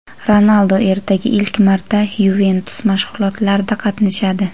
Ronaldu ertaga ilk marta "Yuventus" mashg‘ulotlarida qatnashadi.